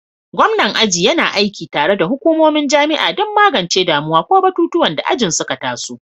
Gwamnan aji yana aiki tare da hukumomin jami'a don magance damuwa ko batutuwan da ajin suka taso.